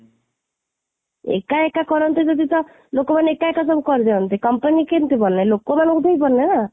ଏକା ଏକା କରନ୍ତେ ଯଦି ତ ଲୋକମାନେ ଏକା ଏକା ସବୁ କରିଦିଅନ୍ତେ, company କେମିତି ବନେ, ଲୋକମାନଙ୍କୁ ନେଇକି ବନେ ନା